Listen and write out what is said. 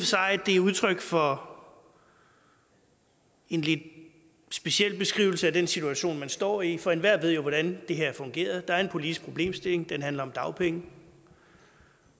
sig at det er udtryk for en lidt speciel beskrivelse af den situation man står i for enhver ved jo hvordan det her fungerer der er en politisk problemstilling den handler om dagpenge